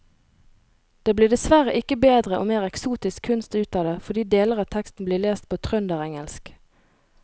Det blir dessverre ikke bedre og mer eksotisk kunst ut av det fordi deler av teksten blir lest på trønderengelsk.